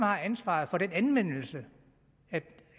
har ansvaret for den anvendelse